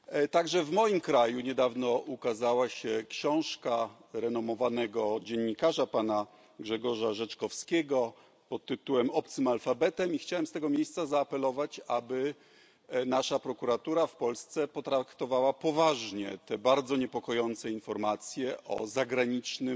Także w moim kraju niedawno ukazała się książka renomowanego dziennikarza, pana Grzegorza Rzeczkowskiego, pod tytułem Obcym alfabetem, i chciałem z tego miejsca zaapelować, aby nasza prokuratura w Polsce potraktowała poważnie te bardzo niepokojące informacje o zagranicznym